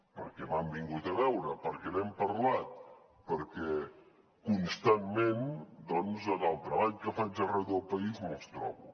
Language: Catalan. perquè m’han vingut a veure perquè n’hem parlat perquè constantment en el treball que faig arreu del país me’ls trobo